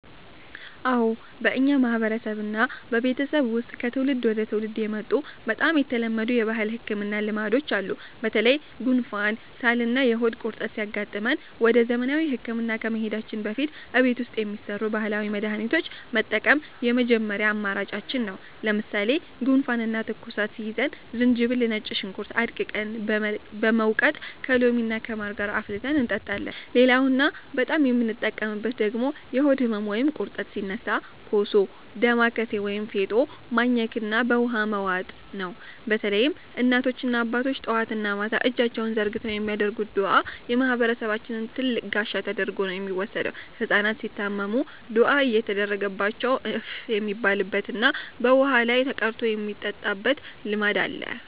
አዎ፣ በእኛ ማህበረሰብና ቤተሰብ ውስጥ ከትውልድ ወደ ትውልድ የመጡ በጣም የተለመዱ የባህል ህክምና ልማዶች አሉ። በተለይ ጉንፋን፣ ሳልና የሆድ ቁርጠት ሲያጋጥመን ወደ ዘመናዊ ህክምና ከመሄዳችን በፊት እቤት ውስጥ የሚሰሩ ባህላዊ መድሃኒቶችን መጠቀም የመጀመሪያ አማራጫችን ነው። ለምሳሌ ጉንፋንና ትኩሳት ሲይዘን ዝንጅብልና ነጭ ሽንኩርት አድቅቀን በመውቀጥ ከሎሚና ከማር ጋር አፍልተን እንጠጣለን። ሌላውና በጣም የምንጠቀምበት ደግሞ የሆድ ህመም ወይም ቁርጠት ሲነሳ ኮሶ፣ ዳማከሴ ወይም ፌጦ ማኘክና በውሃ መዋጥ ነው። በተለይም እናቶችና አባቶች ጠዋትና ማታ እጃቸውን ዘርግተው የሚያደርጉት ዱዓ የማህበረሰባችን ትልቅ ጋሻ ተደርጎ ነው የሚወሰደው። ህጻናት ሲታመሙም ዱዓ እየተደረገባቸው እፍ የሚባልበትና በውሃ ላይ ተቀርቶ የሚጠጣበት ልማድ አለ።